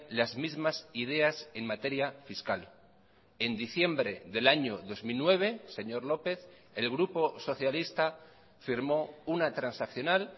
las mismas ideas en materia fiscal en diciembre del año dos mil nueve señor lópez el grupo socialista firmó una transaccional